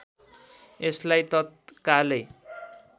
यसलाई तत्कालै